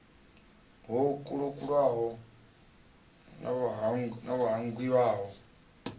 ho kalulaho no ḓo vhangiwaho